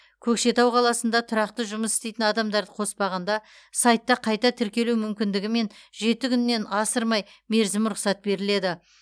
көкшетау қаласында тұрақты жұмыс істейтін адамдарды қоспағанда сайтта қайта тіркелу мүмкіндігімен жеті күннен асырмай мерзімге рұқсат беріледі